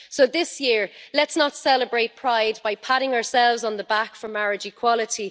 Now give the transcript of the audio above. So this year, let's not celebrate Pride by patting ourselves on the back for marriage equality.